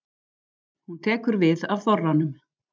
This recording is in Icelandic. Hún tekur við af þorranum.